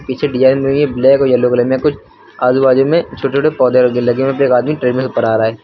पीछे डिजाइन बनी हुई है ब्लैक और येलो कलर में कुछ आजू बाजू में छोटे छोटे पौधे लगे हुए हैं फिर आदमी ट्रेनर पर आ रहा है।